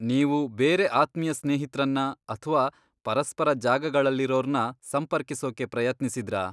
ನೀವು ಬೇರೆ ಆತ್ಮೀಯ ಸ್ನೇಹಿತ್ರನ್ನ ಅಥ್ವಾ ಪರಸ್ಪರ ಜಾಗಗಳಲ್ಲಿರೋರ್ನ ಸಂಪರ್ಕಿಸೋಕೆ ಪ್ರಯತ್ನಿಸಿದ್ರಾ?